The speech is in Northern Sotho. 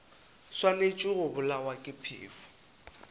swanetše go bolawa ke phefo